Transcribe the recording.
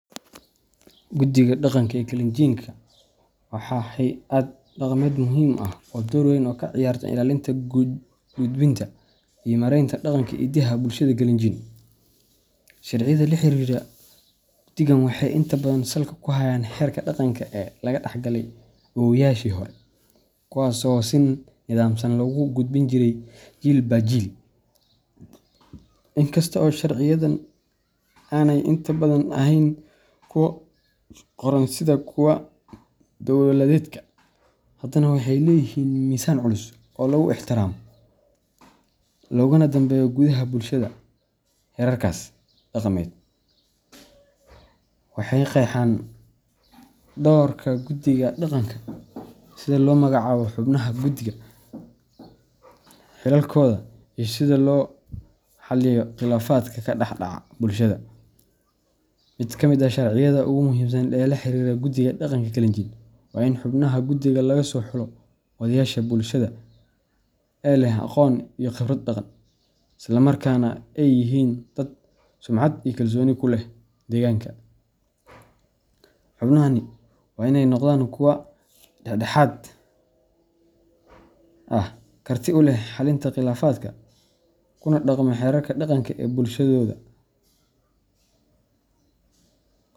Guddiga dhaqanka ee Kalenjin waa hay’ad dhaqameed muhiim ah oo door weyn ka ciyaarta ilaalinta, gudninta, iyo maaraynta dhaqanka iyo hiddaha bulshooyinka Kalenjin. Sharciyada la xiriira guddigan waxay inta badan salka ku hayaan xeerarka dhaqanka ee laga dhaxlay awoowayaashii hore, kuwaas oo si nidaamsan loogu gudbin jiray jiilba jiil. Inkasta oo sharciyadan aanay inta badan ahayn kuwa qoran sida kuwa dowladeedka, haddana waxay leeyihiin miisaan culus oo lagu ixtiraamo loogana danbeeyo gudaha bulshada. Xeerarkaas dhaqameed waxay qeexaan doorka guddiga dhaqanka, sida loo magacaabo xubnaha guddiga, xilalkooda, iyo sida loo xalliyo khilaafaadka ka dhex dhaca bulshada. Mid ka mid ah sharciyada ugu muhiimsan ee la xiriira guddiga dhaqanka Kalenjin waa in xubnaha guddiga laga soo xulo odayaasha bulshada ee leh aqoon iyo khibrad dhaqan, isla markaana ay yihiin dad sumcad iyo kalsooni ku leh deegaanka. Xubnahani waa inay noqdaan kuwo dhex dhexaad ah, karti u leh xallinta khilaafaadka, kuna dhaqma xeerarka dhaqanka ee bulshadooda.